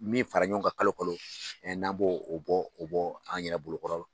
Min fara ɲɔgɔn kan kalo kalo n'an b'o o bɔ o bɔ an yɛrɛ bolo kɔrɔ